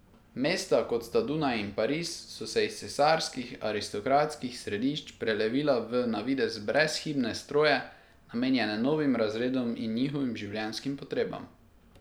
Mesta, kot sta Dunaj in Pariz, so se iz cesarskih, aristokratskih središč prelevila v na videz brezhibne stroje, namenjene novim razredom in njihovim življenjskim potrebam.